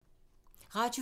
Radio 4